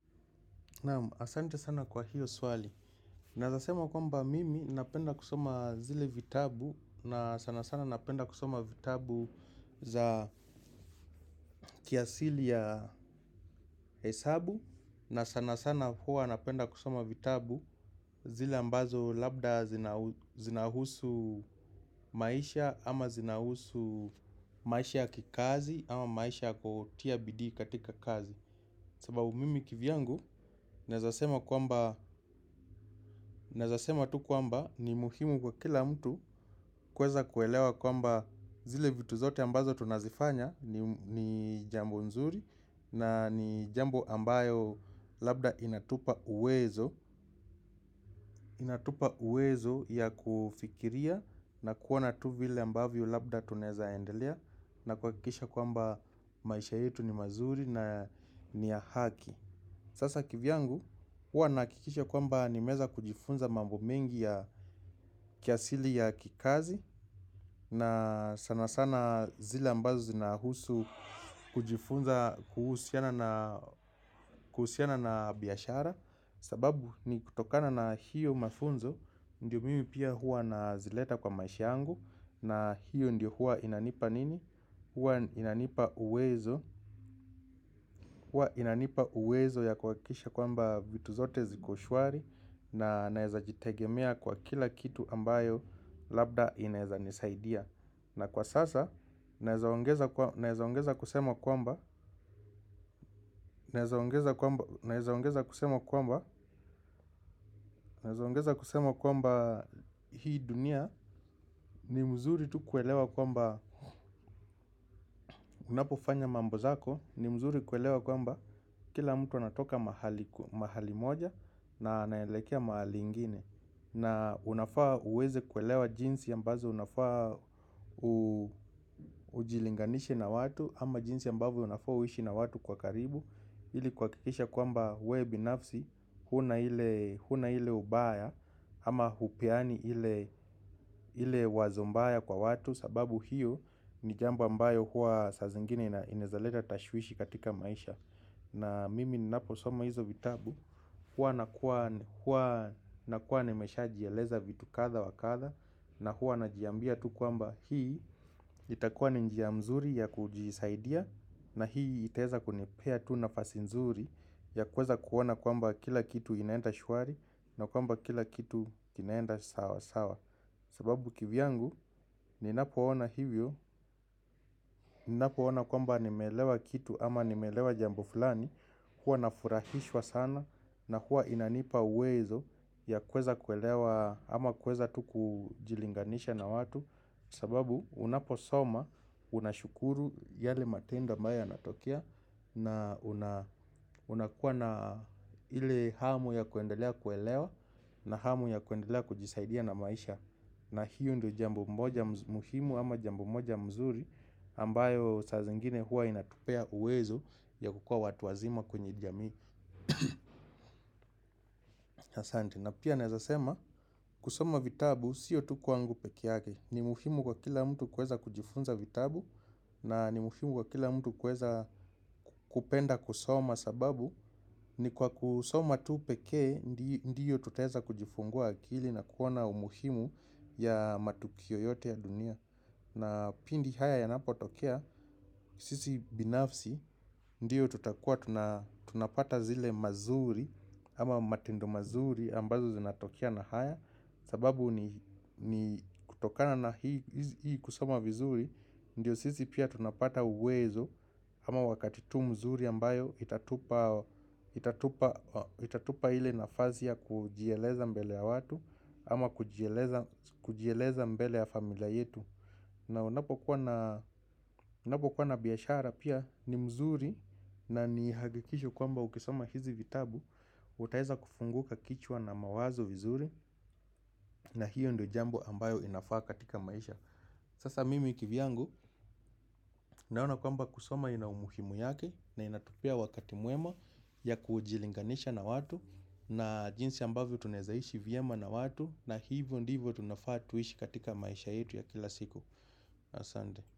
Naamu, asante sana kwa hiyo swali. Naezasema kwamba mimi napenda kusoma zile vitabu na sana sana napenda kusoma vitabu za kiasili ya hesabu na sana sana huwa napenda kusoma vitabu zile ambazo labda zinahusu maisha ama zinahusu maisha ya kikazi ama maisha kotiabidi katika kazi. Sababu mimi kivyangu, naezasema kwamba naezasema tu kwamba ni muhimu kwa kila mtu kueza kuelewa kwamba zile vitu zote ambazo tunazifanya ni jambo nzuri na ni jambo ambayo labda inatupa uwezo. Inatupa uwezo ya kufikiria na kuona tu vile ambavyo labda tunaeza endelea na kuwakikisha kwamba maisha yetu ni mazuri na ni ya haki. Sasa kivyangu huwa nakikisha kwamba nimeza kujifunza mambo mengi ya kiasili ya kikazi na sana sana zile ambazo zinahusu kujifunza kuhusiana na biashara. Sababu ni kutokana na hiyo mafunzo ndio mimi pia hua nazileta kwa maisha angu na hiyo ndio hua inanipa nini? Huwa inanipa uwezo ya kuwakikisha kwamba vitu zote zikoshwari. Na naeza jitegemea kwa kila kitu ambayo labda inaeza nisaidia. Na kwa sasa naezaongeza kusema kwamba naezaongeza kusema kwamba naezaongeza kusema kwamba hii dunia ni mzuri tu kuelewa kwamba unapofanya mambozako ni mzuri kuelewa kwamba kila mtu anatoka mahali moja na anaelekea mahali ingine. Na unafaa uweze kuelewa jinsi ambazo unafaa ujilinganishe na watu. Ama jinsi ambavyo uishi na watu kwa karibu. Ili kuwakikisha kwamba we binafsi huna hile ubaya. Ama hupeani hile wazo mbaya kwa watu. Sababu hiyo ni jambo ambayo huwa saza ingine inaezaleta tashwishi katika maisha. Na mimi naposoma hizo vitabu, huwa nakuwa ni meshajialeza vitu kadha wa kadha. Na huwa najiambia tu kwamba hii itakuwa ni njia mzuri ya kujisaidia. Na hii itaeza kunepea tu nafasinzuri ya kuweza kuona kwamba kila kitu inaenda shuari. Na kwamba kila kitu inaenda sawa sawa. Sababu kivyangu ninapoona hivyo, ninapoona kwamba nimeelewa kitu ama nimeelewa jambo fulani. Huwa nafurahishwa sana na huwa inanipa uwezo ya kuweza kuelewa ama kuweza tu kujilinganisha na watu. Sababu unaposoma unashukuru yale matendo ambayo yanatokea na unakuwa na ile hamu ya kuendelea kuelewa na hamu ya kuendelea kujisaidia na maisha. Na hiyo ndo jambo moja muhimu ama jambo moja mzuri ambayo sa zingine hua inatupea uwezo ya kukua watu wazima kwenye jamii. Na pia naezasema kusoma vitabu siyo tu kwangu peke yake. Ni muhimu kwa kila mtu kueza kujifunza vitabu na ni muhimu kwa kila mtu kueza kupenda kusoma sababu ni kwa kusoma tu pekee ndiyo tutaeza kujifungua akili na kuona umuhimu ya matukio yote ya dunia. Na pindi haya yanapo tokea, sisi binafsi, ndio tutakuwa tunapata zile mazuri ama matendo mazuri ambazo zinatokea na haya. Sababu ni kutokana na hii kusoma vizuri, ndio sisi pia tunapata uwezo ama wakati tu mzuri ambayo itatupa ili nafasi ya kujieleza mbele ya watu ama kujieleza mbele ya familia yetu. Na unapo kuwa na biashara pia ni mzuri na ni hakikisho kwamba ukisoma hizi vitabu utaeza kufunguka kichwa na mawazo vizuri na hiyo ndo jambo ambayo inafaa katika maisha. Sasa mimi kivyangu naona kwamba kusoma ina umuhimu yake na inatupea wakati mwema ya kujilinganisha na watu. Na jinsi ambavyo tunezaishi vyema na watu na hivyo ndivyo tunafaa tuishi katika maisha yetu ya kila siku. Asande.